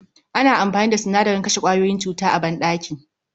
Ana amfani da sinadarin kashe kwayoyin cuta a banɗaki